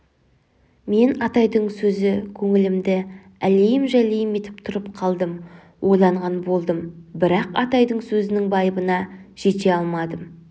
мен атайдың сөзі көңілімді әлейім-жәлейім етіп тұрып қалдым ойланған болдым бірақ атайдың сөзінің байыбына жете алмадым